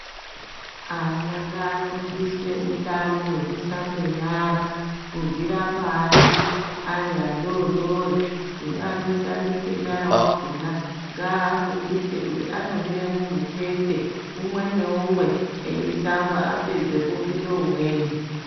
Ana ngaafundiswe utano hwekusambe nyara kubvira pashi ari adodori hino anoshambise nyara wakhona ngaafundise kuti anomire mumitsetse umwe neumwe eisamba apedze popinde umweni.